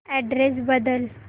address बदल